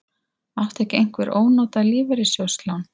Átti ekki einhver ónotað lífeyrissjóðslán?